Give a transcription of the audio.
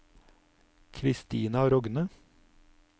Kristina Rogne